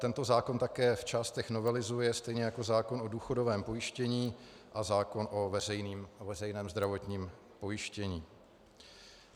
Tento zákon také v částech novelizuje, stejně jako zákon o důchodovém pojištění a zákon o veřejném zdravotním pojištění.